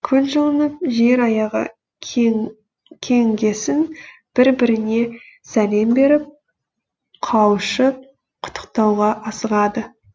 күн жылынып жер аяғы кеңігесін бір біріне сәлем беріп қауышып құттықтауға асығады